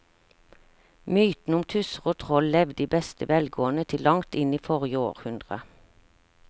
Mytene om tusser og troll levde i beste velgående til langt inn i forrige århundre.